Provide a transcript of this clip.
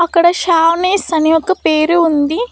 అక్కడ ష్యామేస్ అని ఒక పేరు ఉంది.